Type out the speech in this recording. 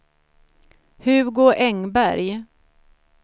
Hugo Engberg